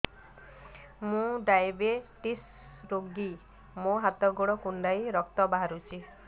ମୁ ଡାଏବେଟିସ ରୋଗୀ ମୋର ହାତ ଗୋଡ଼ କୁଣ୍ଡାଇ ରକ୍ତ ବାହାରୁଚି